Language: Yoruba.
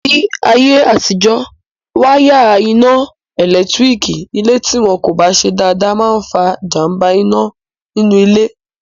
Ní ayé àtijọ́, wáyárìn iná ẹ̀lẹ́tírík ilé tí wọn kò bá ṣe dáadáa máa n fa jàmbá iná nínú ilé